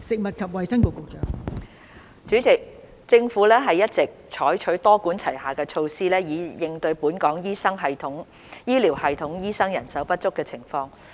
代理主席，政府一直採取多管齊下的措施以應對本港醫療系統醫生人手不足的情況。